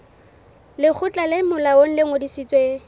lekgotla le molaong le ngodisitsweng